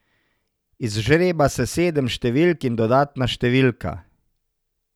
Izžreba se sedem številk in dodatna številka.